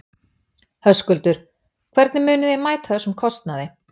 Höskuldur: Hvernig munið þið mæta þessum kostnaði?